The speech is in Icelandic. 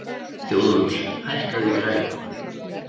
Þjóðólfur, hækkaðu í græjunum.